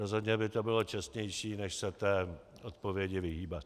Rozhodně by to bylo čestnější než se té odpovědi vyhýbat.